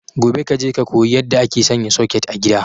Gobe kaje ka koyi yadda ake sanya soket a gida